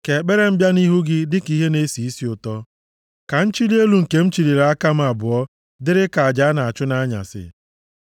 Ka ekpere m bịa nʼihu gị dịka ihe na-esi isi ụtọ; ka nchili elu nke m chịlịri aka m abụọ dịrị ka aja a na-achụ nʼanyasị.